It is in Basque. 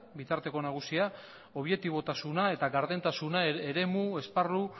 bitarteko nagusia objetibotasuna eta gardentasuna eremu esparru